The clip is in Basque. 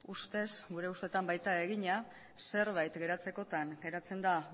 ustez gure ustetan baita egina zerbait geratzekotan geratzen da